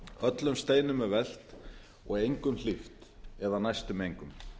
öllum steinum er velt og engum hlíft eða næstum engum